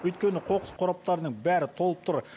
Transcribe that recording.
өйткені қоқыс қораптарының бәрі толып тұр